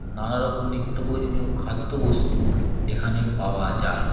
নানা রকম নিত্য প্রয়োজনীয় খাদ্যবস্তু এখানে পাওয়া যায় |